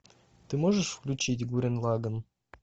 ты можешь включить гуррен лаганн